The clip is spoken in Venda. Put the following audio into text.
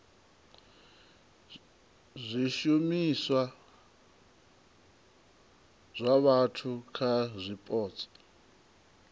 zwishumiswa zwa vhathu kha zwipotso